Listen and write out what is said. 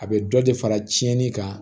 A bɛ dɔ de fara tiɲɛni kan